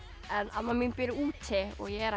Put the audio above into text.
amma mín býr úti og ég er